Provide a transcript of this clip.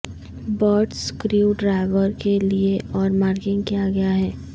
bits screwdriver کے لئے اور مارکنگ کیا ہیں